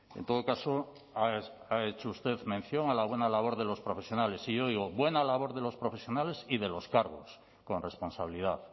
en todo caso ha hecho usted mención a la buena labor de los profesionales y yo digo buena labor de los profesionales y de los cargos con responsabilidad